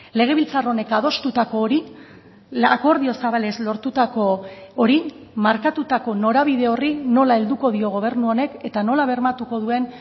legebiltzar honek adostutako hori akordio zabalez lortutako hori markatutako norabide horri nola helduko dio gobernu honek eta nola bermatuko duen